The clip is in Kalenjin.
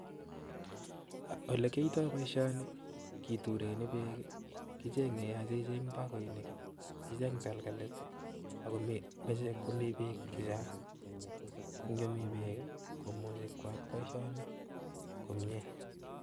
Olekiyoito boishoni kitureni beek kicheng'e akityo icheng bokoinik, icheng takalkalit ak olemoche komii beek chechang, ko ng'omii beek komuche koyaak boishoni komnye.